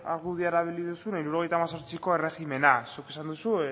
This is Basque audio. argudioa erabili duzu hirurogeita hemezortziko erregimena zuk esan duzu